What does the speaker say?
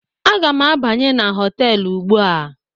Aga m abanye na họtelu ugbu a